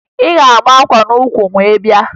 Ị ga-ama akwa n'ukwu wee bịa!